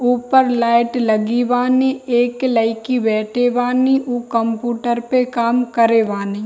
ऊपर लाइट लगी बानी एक लयकी बैठे बानी उ कमपूटर पे काम करे बानी।